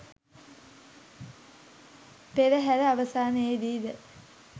පෙරහර අවසානයේදී ද